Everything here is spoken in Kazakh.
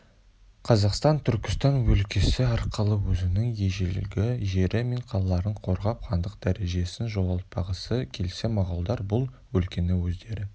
қазақтар түркістан өлкесі арқылы өзінің ежелгі жері мен қалаларын қорғап хандық дәрежесін жоғалтпағысы келсе моғолдар бұл өлкені өздері